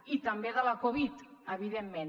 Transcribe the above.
i també de la covid evidentment